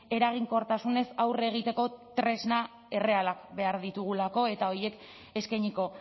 eraginkortasunez aurre egiteko tresna errealak behar ditugulako eta horiek eskainiko